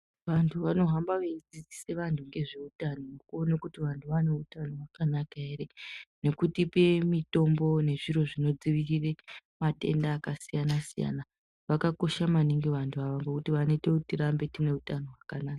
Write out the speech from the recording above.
Vantu vanohamba veidzidzisa vantu nezvehutano kuona kuti vantu vane hutano hwakanaka ere nekutipa mitombo nezviro zvinodzivirirka Matendda akasiyana siyana zvakakosha maningi avjyu ava nekuti vanoita tirambe tine hutano hwakanaka.